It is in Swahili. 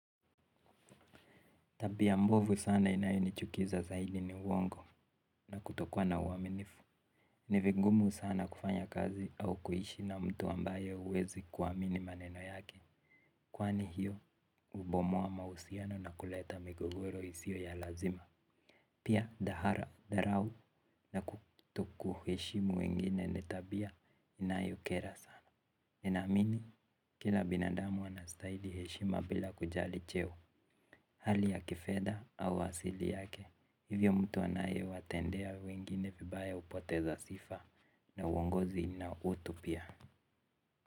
Tabia mbovu sana inayo nichukiza zaidi ni uongo na kutokuwa na uaminifu. Ni vigumu sana kufanya kazi au kuishi na mtu ambaye huwezi kuamini maneno yake. Kwani hiyo hubomoa mahusiano na kuleta migogoro isiyo ya lazima. Pia dahara, dharau na kutokuheshimu wengine ni tabia inayokera sana ninaamini kila binadamu anastahili heshima bila kujali cheo hali ya kifedha au asili yake. Hivyo mtu anayewatendea wengine vibaya hupoteza sifa na uongozi na utu pia.